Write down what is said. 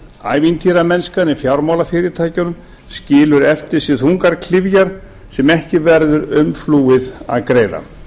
ævintýramennskan í fjármálafyrirtækjunum skilur eftir sig þungar klyfjar sem ekki verður umflúið að greiða